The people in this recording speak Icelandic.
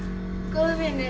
góður vinur